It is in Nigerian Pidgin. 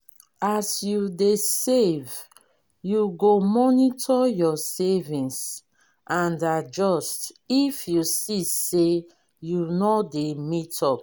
as you dey save you go monitor your savings and adjust if you see sey you no dey meet up